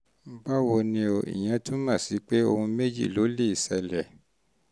báwo ni o? ìyẹn túmọ̀ sí pé ohun méjì ló lè ṣẹlẹ̀